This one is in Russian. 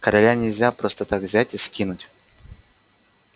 короля нельзя просто так взять и скинуть